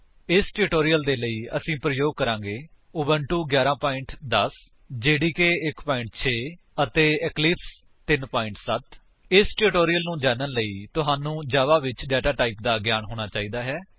ਇਸ ਟਿਊਟੋਰਿਅਲ ਦੇ ਲਈ ਅਸੀ ਪ੍ਰਯੋਗ ਕਰਾਂਗੇ ਉਬੁੰਟੂ 11 10 ਜੇਡੀਕੇ 1 6 ਅਤੇ ਇਕਲਿਪਸ 3 7 ਇਸ ਟਿਊਟੋਰਿਅਲ ਨੂੰ ਜਾਨਣ ਤੁਹਾਨੂੰ ਜਾਵਾ ਵਿੱਚ ਡੇਟਾ ਟਾਈਪ ਦਾ ਗਿਆਨ ਹੋਣਾ ਚਾਹੀਦਾ ਹੈ